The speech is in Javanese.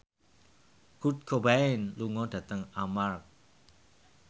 Kurt Cobain lunga dhateng Armargh